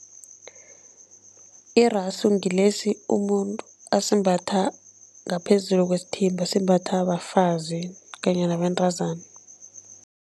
Irasu ngilesi umuntu asimbatha ngaphezulu kwesithimba, simbathwa bafazi kanye nabentazana.